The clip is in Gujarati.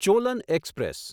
ચોલન એક્સપ્રેસ